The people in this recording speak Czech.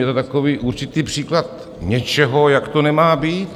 Je to takový určitý příklad něčeho, jak to nemá být.